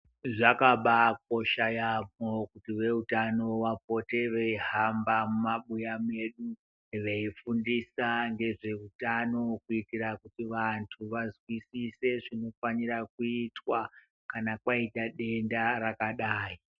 Zvakabaakosha yaamho kuti , veutano vapote veihamba mumabuya medu veifundisa ngezveutano, kuitiravanhu vazwisise nezvinofanira kuitwa, kana kwaita denda rakadai.